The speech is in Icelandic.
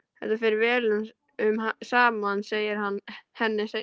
Þetta fer vel saman segir hann henni seinna.